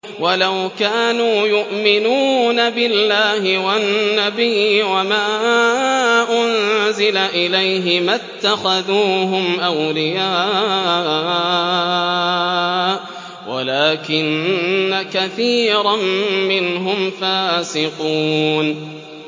وَلَوْ كَانُوا يُؤْمِنُونَ بِاللَّهِ وَالنَّبِيِّ وَمَا أُنزِلَ إِلَيْهِ مَا اتَّخَذُوهُمْ أَوْلِيَاءَ وَلَٰكِنَّ كَثِيرًا مِّنْهُمْ فَاسِقُونَ